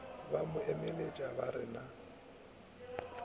mo emeletša ba re na